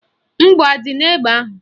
Mgbọ adị n'egbe ahụ?